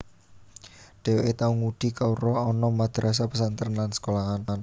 Dheweke tau ngudi kawruh ana madrasah pesantren lan sekolahan